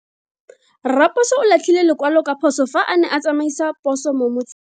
Raposo o latlhie lekwalo ka phoso fa a ne a tsamaisa poso mo motseng.